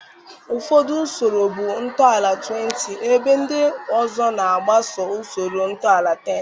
Ụfọdụ usoro bụ ntọala-20, ebe ndị ọzọ na-agbaso usoro ntọala-10.